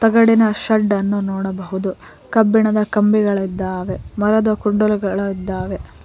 ರಗಡಿನ ಶೆಡ್ದನ್ನು ನೋಡಬಹುದು ಕಬ್ಬಿಣದ ಕಂಬಿಗಳಿದ್ದಾವೆ ಮರದ ಕುಡ್ದಲುಗಳಿದ್ದಾವೆ.